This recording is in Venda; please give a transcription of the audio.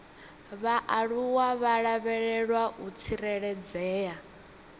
vhaaluwa vha lavhelwa u tsireledzea